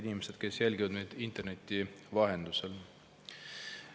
Head inimesed, kes jälgivad meid interneti vahendusel!